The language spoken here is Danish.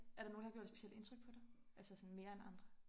Er der nogen der har gjort et specielt indtryk på dig altså mere end andre